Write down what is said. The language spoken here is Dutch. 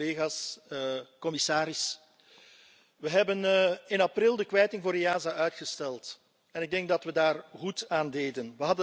Collega's, commissaris, we hebben in april de kwijting voor EASO uitgesteld, en ik denk dat we daar goed aan deden.